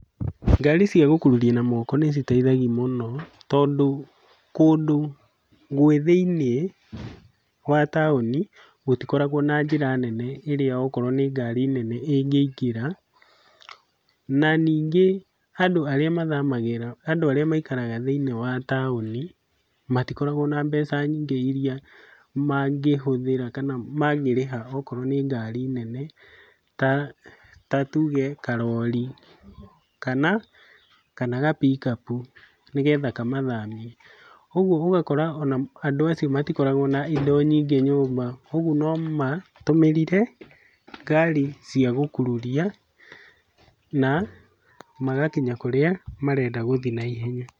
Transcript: Ngari cia gũkururia na moko nĩ citeithagia mũno, tondũ kũndũ kũrĩ thĩiniĩ wa taũni gũtikoragwo na njĩra nene ĩrĩa okorwo nĩ ngari nene ĩngĩingĩra, na ningĩ andu arĩa mathamagĩra, andũ arĩa maikaraga thĩiniĩ wa taũni, matikoragwo na mbeca nyingĩ iria mangĩhũthĩra, kana mangĩrĩha okorwo nĩ ngari nene ta tuge karori, kana ga pick up, nĩgetha kamathamie. Ũguo ũgakora ona andũ acio matikoragwo na indo nyingĩ nyũmba, ũguo no matũmĩrire ngari cia gũkururia na magakinya kũrĩa marenda gũthiĩ na ihenya.